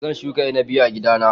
Zan shuka inabi a gida na